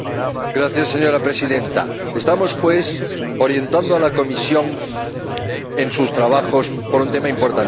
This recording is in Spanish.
Señora Presidenta, estamos, pues, orientando a la Comisión en sus trabajos sobre un tema importantísimo.